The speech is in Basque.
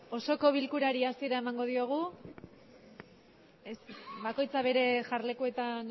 osoko bilkurari hasiera emango diogu bakoitza bere jarlekuetan